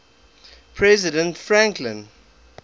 president franklin